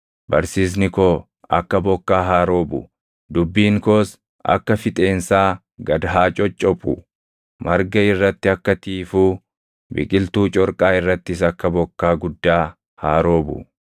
Barsiisni koo akka bokkaa haa roobu; dubbiin koos akka fixeensaa gad haa coccophu; marga irratti akka tiifuu, biqiltuu corqaa irrattis akka bokkaa guddaa haa roobu.